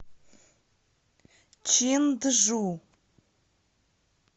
чинджу